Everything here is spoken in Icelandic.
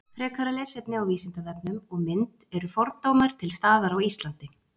frekara lesefni á vísindavefnum og mynd eru fordómar til staðar á íslandi